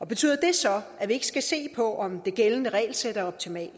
betyder det så at vi ikke skal se på om det gældende regelsæt er optimalt